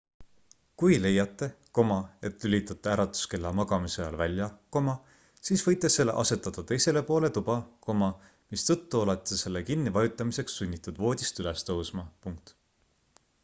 kui leiate et lülitate äratuskella magamise ajal välja siis võite selle asetada teisele poole tuba mistõttu olete selle kinni vajutamiseks sunnitud voodist üles tõusma